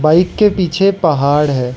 Bike के पीछे पहाड़ है।